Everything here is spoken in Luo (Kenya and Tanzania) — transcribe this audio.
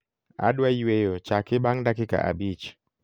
adwa yweyo chaki bang dakika abich